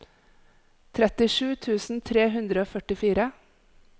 trettisju tusen tre hundre og førtifire